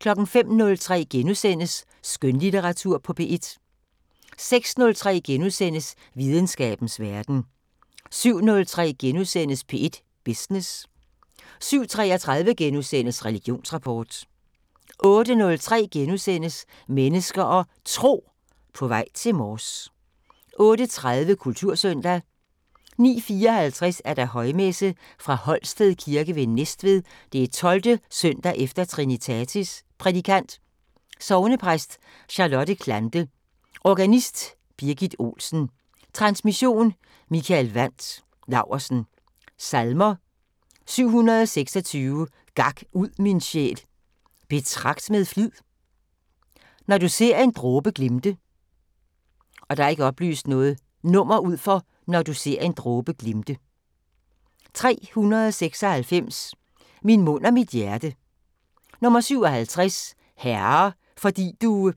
05:03: Skønlitteratur på P1 * 06:03: Videnskabens Verden * 07:03: P1 Business * 07:33: Religionsrapport * 08:03: Mennesker og Tro: På vej til Mors * 08:30: Kultursøndag 09:54: Højmesse - Fra Holsted Kirke ved Næstved 12. søndag efter Trinitatis Prædikant: Sognepræst Charlotte Clante. Organist: Birgit Olsen. Transmission: Mikael Wandt Laursen. Salmer: 726: "Gak ud, min sjæl, betragt med flid". "Når du ser en dråbe glimte". 396: "Min mund og mit hjerte". 57: "Herre, fordi du".